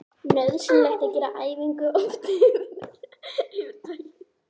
Nauðsynlegt er að gera æfinguna oft og iðulega yfir daginn.